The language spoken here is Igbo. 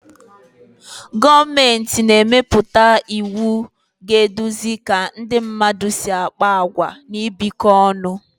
Gọọmenti na-emepụta iwu ga-eduzi ka ndị mmadụ si akpa àgwà na ibikọ ọnụ